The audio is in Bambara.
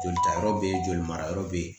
Jolitayɔrɔ bɛ yen joli marayɔrɔ bɛ yen